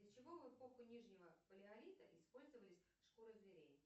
для чего в эпоху нижнего палеолита использовались шкуры зверей